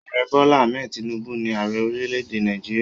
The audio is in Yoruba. Ààrẹ Bola Hammed Tinubu ni ààrẹ orílẹ̀-èdè Nàìjíríà.